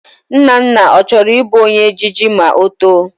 Nnanna, ọ chọrọ Ị bụ ome ejije ma ọ too?